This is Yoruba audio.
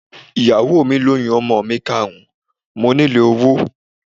Ìyàwó mi lóyún ọmọ mi karùn-ún, mo nílò owó.